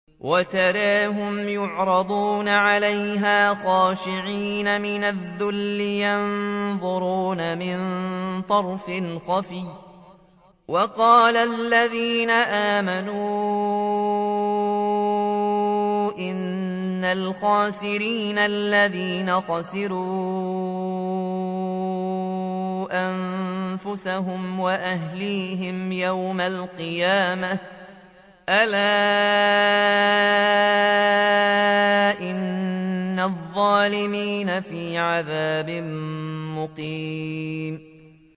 وَتَرَاهُمْ يُعْرَضُونَ عَلَيْهَا خَاشِعِينَ مِنَ الذُّلِّ يَنظُرُونَ مِن طَرْفٍ خَفِيٍّ ۗ وَقَالَ الَّذِينَ آمَنُوا إِنَّ الْخَاسِرِينَ الَّذِينَ خَسِرُوا أَنفُسَهُمْ وَأَهْلِيهِمْ يَوْمَ الْقِيَامَةِ ۗ أَلَا إِنَّ الظَّالِمِينَ فِي عَذَابٍ مُّقِيمٍ